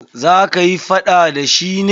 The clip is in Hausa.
Za kayi faɗa da shi ne?